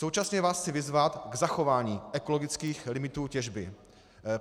Současně vás chci vyzvat k zachování ekologických limitů těžby.